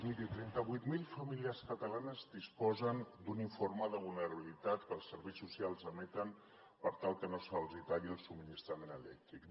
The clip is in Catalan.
miri trenta vuit mil famílies catalanes disposen d’un informe de vulnerabilitat que els serveis socials emeten per tal que no se’ls talli el subministrament elèctric